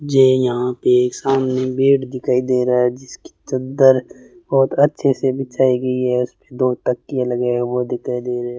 मुझे यहां पे एक सामने बेड दिखाई दे रहा है जिसकी चद्दर बहुत अच्छे से बिछाई गई है उसपे दो तकिया लगाया हुआ दिखाई दे रहा है।